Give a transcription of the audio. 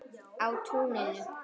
Á túninu.